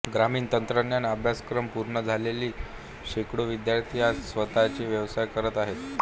ग्रामीण तंत्रज्ञान अभ्यासक्रम पूर्ण झालेली शेकडो विद्यार्थी आज स्वतचे व्यवसाय करत आहेत